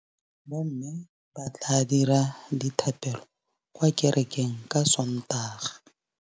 Bommê ba tla dira dithapêlô kwa kerekeng ka Sontaga.